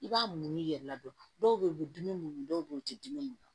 I b'a muɲu i yɛrɛ la dɔrɔn dɔw bɛ yen u bɛ dimi mun dɔw bɛ yen u tɛ dimi